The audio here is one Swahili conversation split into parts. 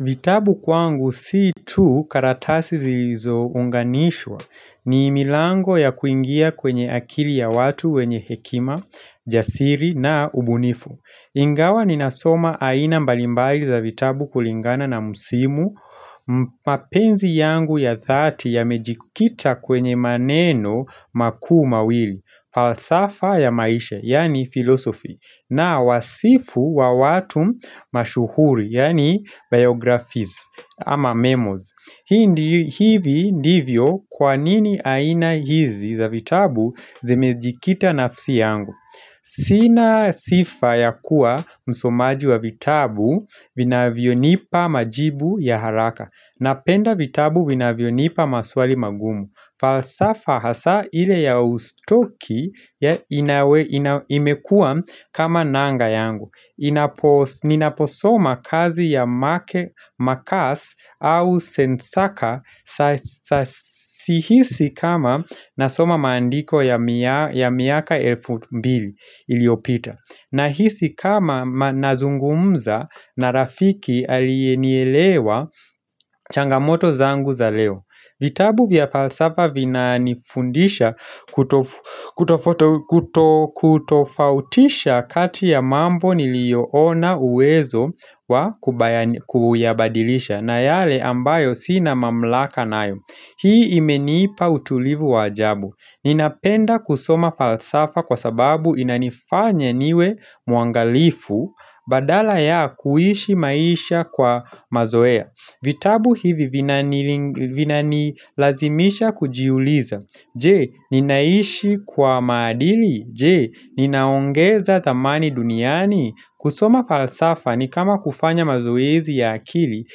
Vitabu kwangu si tu karatasi zilizo unganishwa ni milango ya kuingia kwenye akili ya watu wenye hekima, jasiri na ubunifu. Ingawa ninasoma aina mbalimbali za vitabu kulingana na msimu mapenzi yangu ya dhati yamejikita kwenye maneno makuu mawili falsafa ya maisha, yaani philosophy na wasifu wa watu mashuhuri, yaani biographies ama memos hii hivi ndivyo kwa nini aina hizi za vitabu zimejikita nafsi yangu Sina sifa ya kuwa msomaji wa vitabu vinavyonipa majibu ya haraka Napenda vitabu vinavyonipa maswali magumu falsafa hasa ile ya ustuki ya inawe imekua kama nanga yangu inapo Ninaposoma kazi ya marcus au sensaka Sihisi kama nasoma maandiko ya miaka elfu mbili iliopita Nahisi kama nazungumza na rafiki alienielewa changamoto zangu za leo vitabu vya falsafa vinanifundisha kutofautisha kati ya mambo niliyo ona uwezo wa kuyabadilisha na yale ambayo sina mamlaka nayo Hii imenipa utulivu wa ajabu Ninapenda kusoma falsafa kwa sababu inanifanya niwe muangalifu badala ya kuishi maisha kwa mazoea vitabu hivi vinanilazimisha kujiuliza. Je, ninaishi kwa maadili. Je, ninaongeza thamani duniani. Kusoma falsafa ni kama kufanya mazoezi ya akili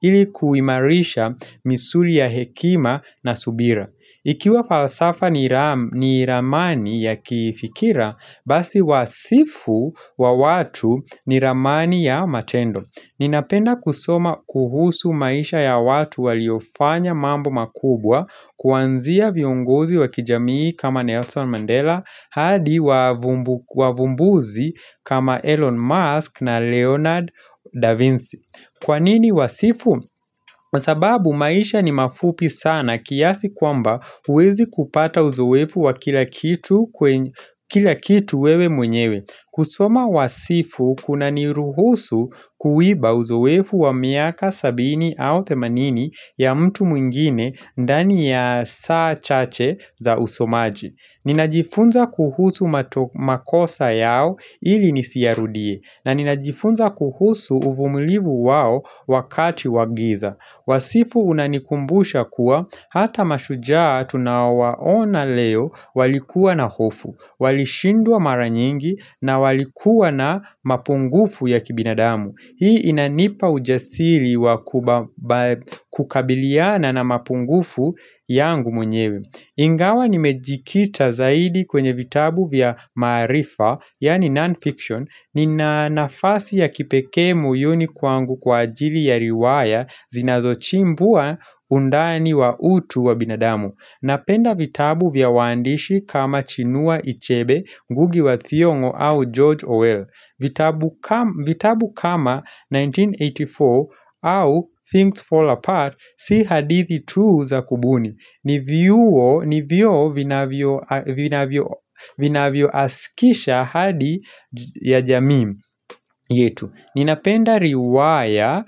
ili kuimarisha misuli ya hekima na subira. Ikiwa falsafa ni ramani ya kifikira, basi wasifu wa watu ni ramani ya matendo. Ninapenda kusoma kuhusu maisha ya watu waliofanya mambo makubwa kuanzia viongozi wa kijamii kama Nelson Mandela, hadi wavumbuzi kama Elon Musk na Leonard Da Vinci. Kwanini uwasifu? Kwa sababu maisha ni mafupi sana kiasi kwamba huwezi kupata uzoefu wa kila kitu wewe mwenyewe. Kusoma wasifu kunaniruhusu kuiba uzoefu wa miaka sabini au themanini ya mtu mwingine ndani ya saa chache za usomaji. Ninajifunza kuhusu makosa yao ili nisiyarudie na ninajifunza kuhusu uvumulivu wao wakati wa giza Wasifu unanikumbusha kuwa hata mashujaa tunawaona leo walikuwa na hofu Walishindwa mara nyingi na walikuwa na mapungufu ya kibinadamu Hii inanipa ujasiri wa kubaba kukabiliana na mapungufu yangu mwenyewe ingawa nimejikita zaidi kwenye vitabu vya maarifa, yaani non-fiction, nina nafasi ya kipekee moyuni kwangu kwa ajili ya riwaya zinazochimbua undani wa utu wa binadamu. Napenda vitabu vya uandishi kama chinua ichebe, Ngugi wa thiongo au George Orwell. Vitabu kama 1984 au Things Fall Apart si hadithi tu za kubuni ni vioo vinavyo vinavyo asikisha ahadi ya jamii yetu Ninapenda riwaya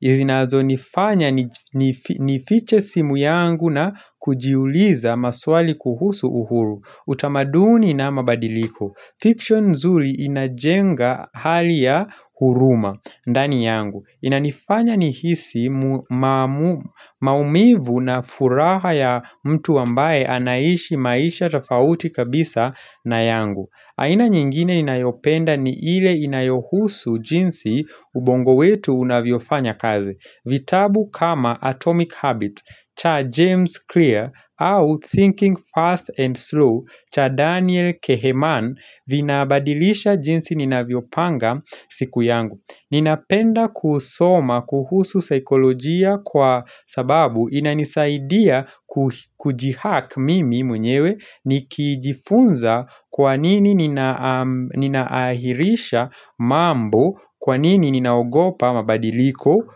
zinazonifanya nifiche simu yangu na kujiuliza maswali kuhusu uhuru utamaduni na mabadiliko Fiction nzuri inajenga hali ya huruma, ndani yangu. Inanifanya nihisi maumivu na furaha ya mtu ambaye anaishi maisha tofauti kabisa na yangu. Aina nyingine inayopenda ni ile inayohusu jinsi ubongo wetu unavyofanya kazi vitabu kama Atomic Habits cha James Clear au Thinking Fast and Slow cha Daniel Kehlmann Vinabadilisha jinsi ninavyopanga siku yangu Ninapenda kusoma kuhusu saikolojia kwa sababu inanisaidia kujihack mimi mwenyewe Nikijifunza kwa nini nina nina ahirisha mambo Kwa nini ninaogopa mabadiliko.